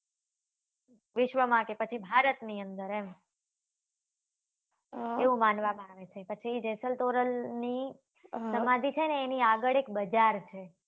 વિશ્વ માટે પછી ભારત ની અંદર અ એવું માનવા માં આવે છે પછી જેસલ તોરલ ની સમાધિ છે ને એની આગળ એક બજાર છે.